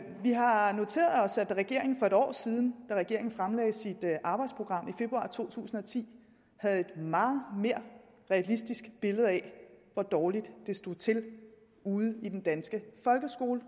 har noteret os at regeringen for et år siden da regeringen fremlagde sit arbejdsprogram i februar to tusind og ti havde et meget mere realistisk billede af hvor dårligt det stod til ude i den danske folkeskole